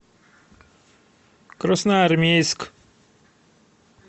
красноармейск